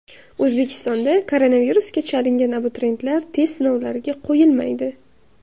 O‘zbekistonda koronavirusga chalingan abituriyentlar test sinovlariga qo‘yilmaydi.